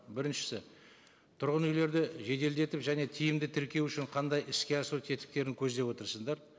біріншісі тұрғын үйлерді жеделдетіп және тиімді тіркеу үшін қандай іске асу тетіктерін көздеп отырсыңдар